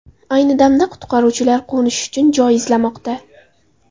Ayni damda qutqaruvchilar qo‘nish uchun joy izlamoqda.